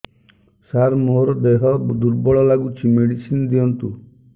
ସାର ମୋର ଦେହ ଦୁର୍ବଳ ଲାଗୁଚି ମେଡିସିନ ଦିଅନ୍ତୁ